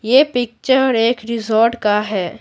यह पिक्चर एक रिजॉर्ट का है।